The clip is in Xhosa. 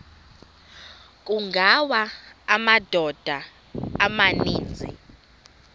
kungawa amadoda amaninzi